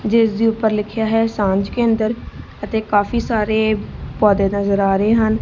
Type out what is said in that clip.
ਜਿਸ ਦੇ ਉੱਪਰ ਲਿਖਿਆ ਹੈ ਸਾਂਝ ਕੇ ਅੰਦਰ ਅਤੇ ਕਾਫੀ ਸਾਰੇ ਪੌਦੇ ਨਜ਼ਰ ਆ ਰਹੇ ਹਨ।